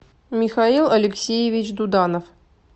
михаил алексеевич дуданов